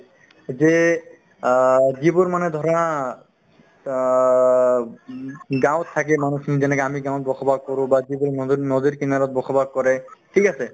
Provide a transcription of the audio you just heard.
যে আ যিবোৰ মানুহে ধৰা অ উম গাঁৱত থাকে মানুহখিনি যেনেকা আমি গাঁৱত বসবাস কৰো বা যিবোৰ নদীৰ~ নদীৰ কিনাৰত বসবাস কৰে ঠিক আছে